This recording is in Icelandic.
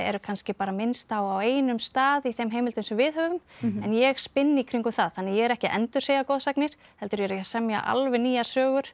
kannski bara minnst á á einum stað í þeim heimildum sem við höfum en ég spinn í kringum það ég er ekki að endursegja goðsagnir heldur er ég að semja alveg nýjar sögur